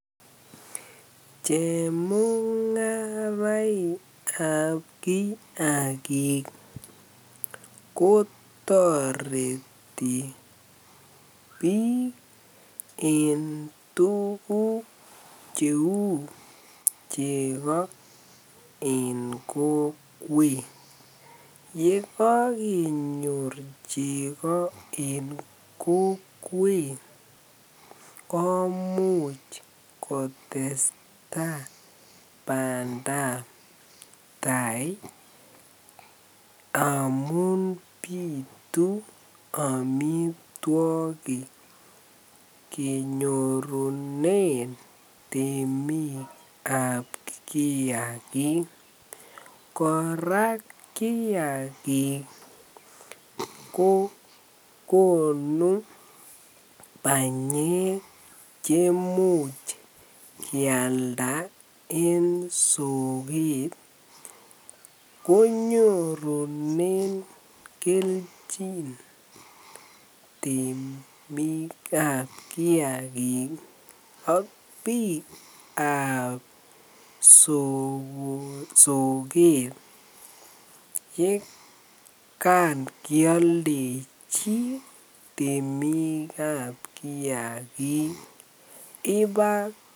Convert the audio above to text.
Chemungaraikab kiakik kotoreti biik en tukuk cheu chekoo en kokwet, yekokenyor cheko en kokwet komuch kotesta bandab taai amun bitu amitwokik kenyorunen temikab kiakik, kora kiakik ko konuu banyek chemuch kialda en sokeet konyorunen kelchin temikab kiakik ak biikab sokeet yekan kialdechi temikab kiakik ibaa.